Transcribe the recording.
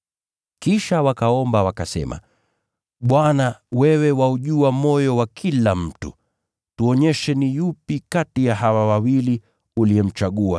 Kisha wakaomba, wakasema, “Bwana, wewe waujua moyo wa kila mtu. Tuonyeshe ni yupi kati ya hawa wawili uliyemchagua